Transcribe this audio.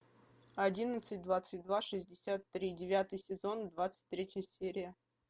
одиннадцать двадцать два шестьдесят три девятый сезон двадцать третья серия